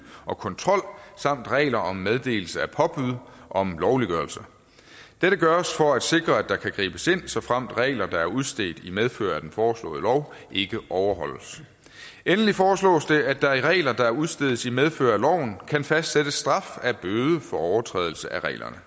og kontrol samt regler om meddelelse af påbud om lovliggørelse dette gøres for at sikre at der kan gribes ind såfremt regler der er udstedt i medfør af den foreslåede lov ikke overholdes endelig foreslås det at der i regler der udstedes i medfør af loven kan fastsættes straf af bøde for overtrædelse af reglerne